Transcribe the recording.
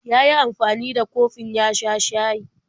Ya yi amfani da kofin ya sha shayi.